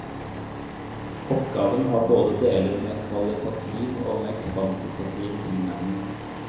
Oppgaven har både deler med kvalitativ og med kvantitativ tilnærming.